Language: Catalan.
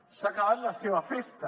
s’ha acabat la seva festa